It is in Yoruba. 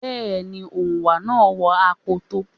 Bẹ́ẹ̀ni, òǹwà náà wọ akoto.